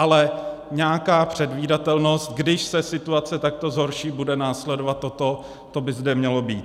Ale nějaká předvídatelnost - když se situace takto zhorší, bude následovat toto - to by zde mělo být.